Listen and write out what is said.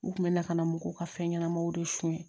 U kun bɛ na ka na mɔgɔw ka fɛn ɲɛnamaw de sonyɛ